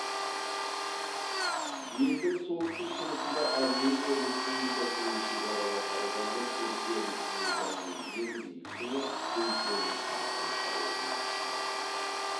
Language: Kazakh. елдің солтүстік шығысында армения республикасымен шекаралас ауданда түркия республикасының ең биік шыңы үлкен ағры тауы орналасқан